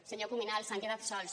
senyor cuminal s’han quedat sols